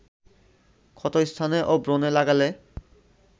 ক্ষত স্থানে ও ব্রণে লাগালে